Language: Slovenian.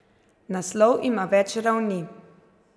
Naslov ima več ravni.